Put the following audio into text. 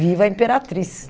Viva a imperatriz!